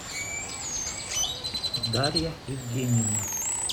дарья евгеньевна